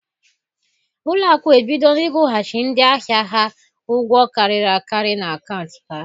Ụlọ akụ ebidola ịkwụghachi ndị ahịa ha ụgwọ karịrị akarị n'akaụntụ ha.